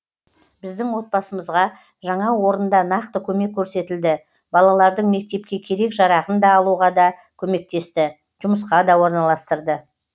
біздің отбасымызға жаңа орында нақты көмек көрсетілді балалардың мектепке керек жарағын да алуға да көмектесті жұмысқа да орналастырды